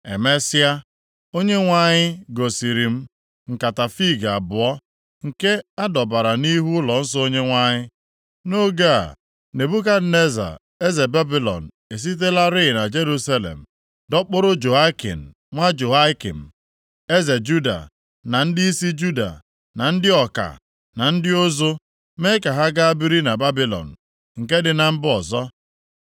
Emesịa, Onyenwe anyị gosiri m nkata fiig abụọ, nke a dọbara nʼihu ụlọnsọ Onyenwe anyị. Nʼoge a, Nebukadneza eze Babilọn esitelarị na Jerusalem dọkpụrụ Jehoiakin nwa Jehoiakim, eze Juda, na ndịisi Juda, na ndị ọka, na ndị ụzụ, mee ka ha gaa biri na Babilọn, nke dị na mba ọzọ.